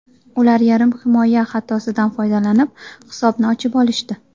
Ular yarim himoya xatosidan foydalanib, hisobni ochib olishdi.